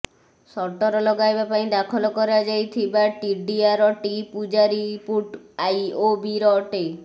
shutter ଲଗାଇବା ପାଇଁ ଦାଖଲ କରାଯାଇଥିବା ଟିଡ଼ିଆର ଟି ପୁଜାରୀପୁଟ ଆଇଓବିର ଅଟେ